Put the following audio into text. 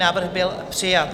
Návrh byl přijat.